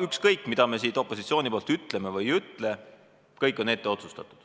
Ükskõik, mida me siin opositsiooni poolt ütleme või ei ütle, kõik on ette otsustatud,